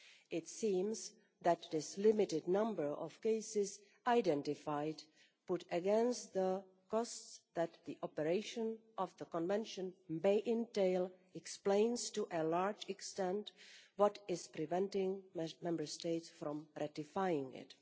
It seems that this limited number of cases identified measured against the costs that the operation of the Convention may entail explains to a large extent what is preventing most Member States from ratifying it.